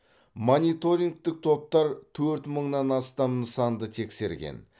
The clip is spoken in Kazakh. мониторингтік топтар төрт мыңнан астам нысанды тексерген